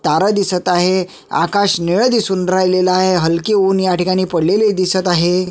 तारा दिसत आहे आकाश निळ दिसून राहिलेल आहे हलके ऊन ह्या ठिकाणी पडलेले दिसत आहे.